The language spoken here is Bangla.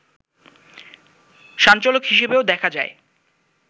সঞ্চালক হিসেবে৩ দেখা যায়